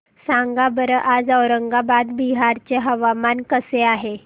सांगा बरं आज औरंगाबाद बिहार चे हवामान कसे आहे